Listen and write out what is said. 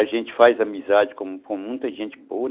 A gente faz amizade com com muita gente boa.